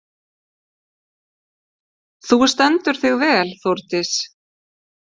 Þú stendur þig vel, Þórdís!